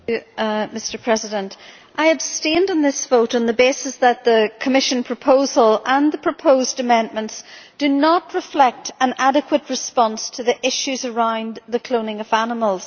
Mr President, I abstained in this vote on the basis that the Commission proposal and the proposed amendments do not reflect an adequate response to the issues around the cloning of animals.